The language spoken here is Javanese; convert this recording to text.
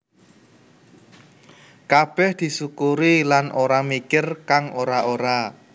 Kabeh disukuri lan ora mikir kang ora ora